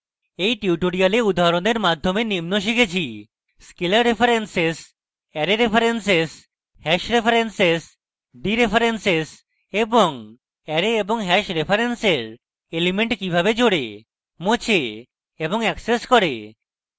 in tutorial উদাহরণের মাধ্যমে নিম্ন শিখেছি